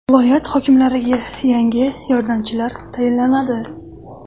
Viloyat hokimlariga yangi yordamchilar tayinlanadi.